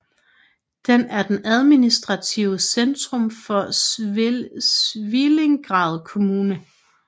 Den er det administrative centrum for Svilengrad Kommune